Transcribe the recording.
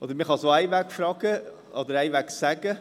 – Oder man kann es auch andersherum sagen: